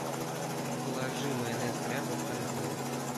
положи майонез ряба в корзину